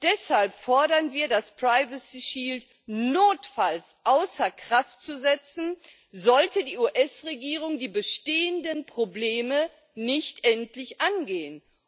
Deshalb fordern wir, das Privacy Shield notfalls außer Kraft zu setzen, sollte die US Regierung die bestehenden Probleme nicht endlich angehen.